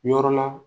Yɔrɔ la